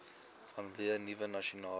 vanweë nuwe nasionale